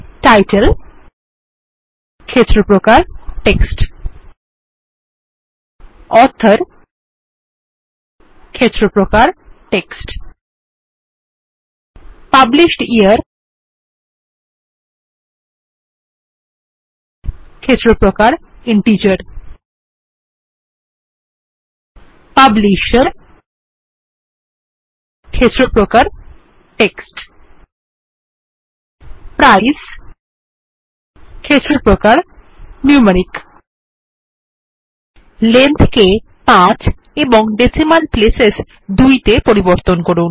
title ক্ষেত্র প্রকার text author ক্ষেত্র প্রকার টেক্সট পাবলিশড ইয়ার ক্ষেত্র প্রকার ইন্টিজার পাবলিশের ক্ষেত্র প্রকার টেক্সট প্রাইস ক্ষেত্র প্রকার নিউমেরিক লেংথ কে ৫ এবং ডেসিমাল প্লেসেস ২ তে পরিবর্তন করুন